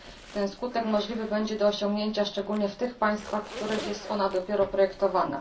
Ten skutek możliwy będzie do osiągnięcia szczególnie w tych państwach, w których jest ona dopiero projektowana.